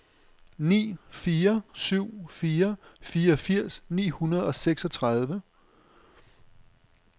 ni fire syv fire fireogfirs ni hundrede og seksogtredive